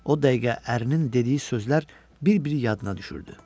O dəqiqə ərinin dediyi sözlər bir-biri yadına düşürdü.